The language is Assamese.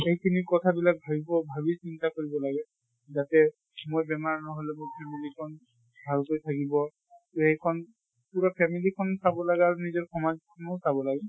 সেইখিনি কথা বিলাক ভাবিব ভাবি চিন্তা কৰিব লাগে যাতে মোৰ বেমাৰ নহলে মোৰ family খন ভালকে থাকিব। এই খন পুৰা family খন চাব লাগা আৰু নিজৰ সমাজ খনো চাব লাগে।